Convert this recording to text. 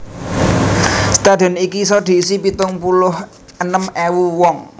Stadhion iki isa diisi pitung puluh enem ewu wong